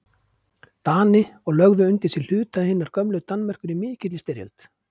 Dani og lögðu undir sig hluta hinnar gömlu Danmerkur í mikilli styrjöld